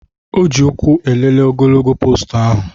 O ji ụkwụ elele ogologo poostu ahụ